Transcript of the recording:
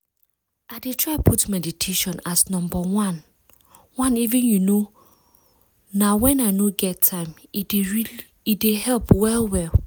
i dey try put meditation as number oneeven you know na when i no get time - e dey help well well.